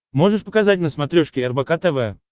можешь показать на смотрешке рбк тв